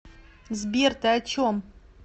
сбер ты о чем